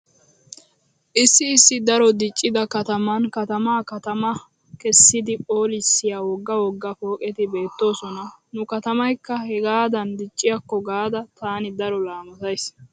Issi issi daro diccida kataman katamaa katama kessidi phoolissiya wogga wogga pooqeti beettoosona. Nu katamaykka hegaadan dicciyaakko gaada taani daro laamottays.